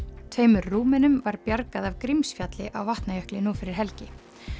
tveimur Rúmenum var bjargað af Grímsfjalli á Vatnajökli nú fyrir helgi